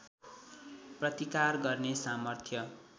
प्रतिकार गर्ने सामर्थ्य